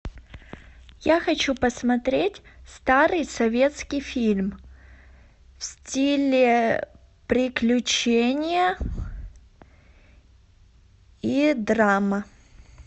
я хочу посмотреть старый советский фильм в стиле приключения и драма